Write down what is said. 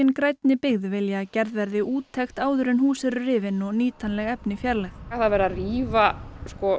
grænni byggð vilja að gerð verði úttekt áður en hús eru rifin og nýtanleg efni fjarlægð er verið að rífa